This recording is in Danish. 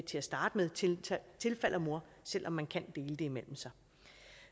til at starte med tilfalder mor selv om man kan dele det imellem sig